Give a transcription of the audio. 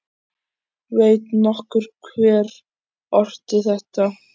Veit nokkur hver orti þetta????